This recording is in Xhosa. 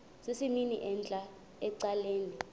sesimnini entla ecaleni